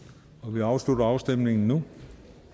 vi afslutter afstemningen nu